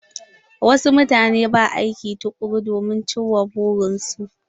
Wasu mutane ba aiki tukuru domin ci ma burin su.